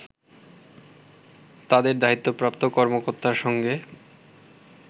তাদের দায়িত্বপ্রাপ্ত কর্মকর্তার সঙ্গে